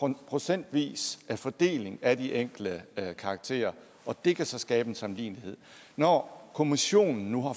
en procentvis fordeling af de enkelte karakterer og det kan så skabe en sammenlignelighed når kommissionen nu